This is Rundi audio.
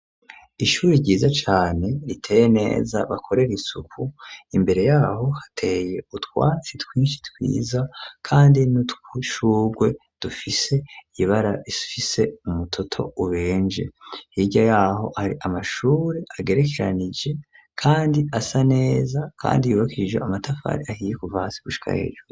Ishuri ryiza cane riteye neza bakorera isuku imbere yaho hateye utwatsi twishi twiza kandi n'udutwishurwe dufise ibara rifise umutoto ubenje hirya yaho hari amashuri agerekeranije kandi asa neza kandi yubakishije amatafari ahiye kuva hasi gushika hejuru.